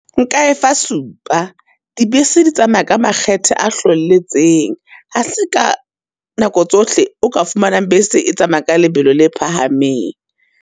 Nka efa supa, di bese di tsamaya ka makgethe a hlwelletseng, ha se ka nako tsohle o ka fumanang bese e tsamaya ka lebelo le phahameng.